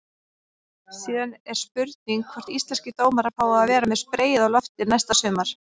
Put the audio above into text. Síðan er spurning hvort íslenskir dómarar fái að vera með spreyið á lofti næsta sumar?